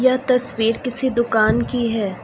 यह तस्वीर किसी दुकान की है।